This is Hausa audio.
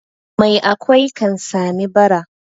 Mai akwai kan sami bara.